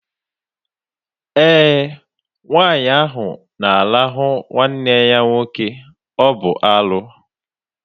Ee, nwaanyị ahụ na arahụ nwanne ya nwoke, ọ bụ arụ